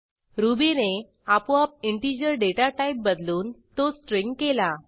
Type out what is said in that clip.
रुबीने आपोआप integer data type बदलून तो स्ट्रिंग केला